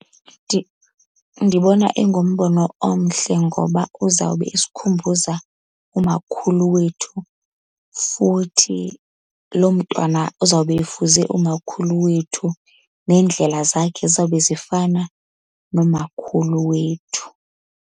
Ndibona ingumbono omhle ngoba uzawube esikhumbuza umakhulu wethu. Futhi loo mntwana uzawube efuze umakhulu wethu, neendlela zakhe zizawube zifana nomakhulu wethu.